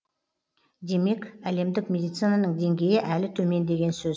демек әлемдік медицинаның деңгейі әлі төмен деген сөз